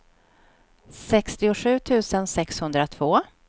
sextiosju tusen sexhundratvå